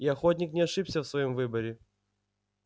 и охотник не ошибся в своём выборе